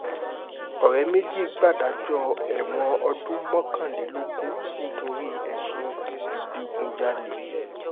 ọ̀rẹ́ méjì gbàdájọ́ ẹ̀wọ̀n ọdún mọ́kànlélógún nítorí ẹ̀sùn ìdígunjalè